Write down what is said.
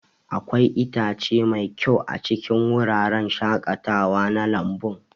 Akwai itatuwa mai kyau a cikin wuraren shaƙatawa na lambun.